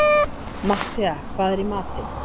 Matthea, hvað er í matinn?